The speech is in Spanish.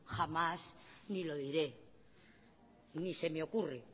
jamás ni lo diré ni se me ocurre